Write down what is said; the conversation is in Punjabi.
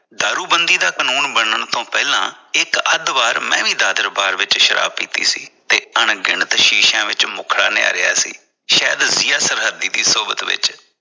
ਦਾਰੂਬੰਦੀ ਦਾ ਕਾਨੂੰਨ ਬਣਨ ਤੋਂ ਪਹਿਲਾਂ ਇਕ ਅੱਧ ਵਾਰ ਮੈਂ ਵੀ ਦਾਦਰ bar ਵਿਚ ਸ਼ਰਾਬ ਪੀਤੀ ਸੀ ਤੇ ਅਣਗਿਣਤ ਸ਼ੀਸ਼ਿਆਂ ਵਿਚ ਮੁਖੜਾ ਨੀਹਾਰਿਆਂ ਸੀ । ਸ਼ਾਇਦ ਜੀਆਂ ਦੀ ਸੋਬਤ ਵਿਚ